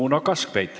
Uno Kaskpeit.